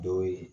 Dɔw ye